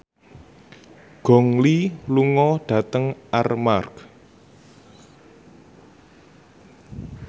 Gong Li lunga dhateng Armargh